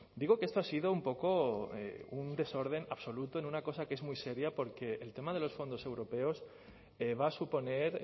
digo que esto ha sido un poco un desorden absoluto en una cosa que es muy seria porque el tema de los fondos europeos va a suponer